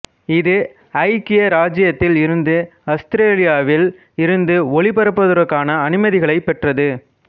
இது ஐக்கிய இராச்சியத்தில் இருந்து அசுத்திரேலியாவில் இருந்து ஒளிபரப்புவதற்கான அனுமதிகளைப் பெற்றது